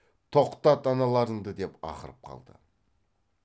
тоқтат аналарыңды деп ақырып қалды